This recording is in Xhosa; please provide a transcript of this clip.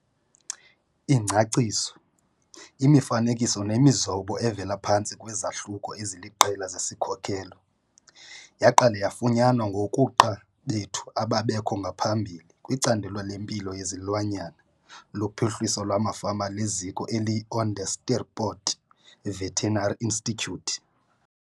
Ingcaciso, imifanekiso nemizobo evela phantsi kwezahluko eziliqela zesi sikhokelo, yaqala yafunyanwa ngokuqqa bethu ababekho ngaphambili kwiCandelo leMpilo yeziLwanyana loPhuhliso lwamaFama leziko eliyiOnderstepoort Veterinary Institute.